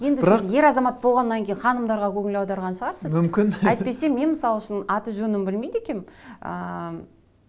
сіз ер азамат болғаннан кейін ханымдарға көңіл аударған шығарсыз мүмкін әйтпесе мен мысал үшін аты жөнін білмейді екенмін ыыы